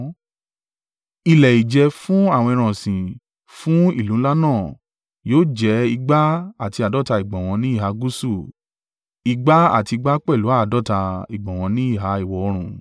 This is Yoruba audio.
Ilẹ̀ ìjẹ fún àwọn ẹran ọ̀sìn fún ìlú ńlá náà yóò jẹ igba àti àádọ́ta (250) ìgbọ̀nwọ́ ní ìhà gúúsù, ìgbà àti ìgbà pẹ̀lú àádọ́ta (250) ìgbọ̀nwọ́ ní ìhà ìwọ̀-oòrùn.